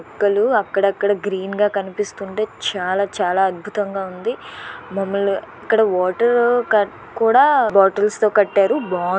మొక్కలు అక్కడక్కడ గ్రీన్ గా కనిపిస్తుంటే చాలా చాలా అద్భుతంగా ఉంది. ఇక్కడ వాటర్ క కూడా బాటిల్స్ తో కట్టారు బా--